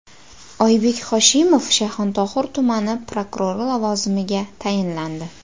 Oybek Hoshimov Shayxontohur tumani prokurori lavozimiga tayinlandi.